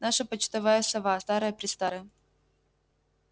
наша почтовая сова старая престарая